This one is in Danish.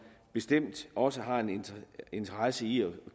bestemt også har en interesse i at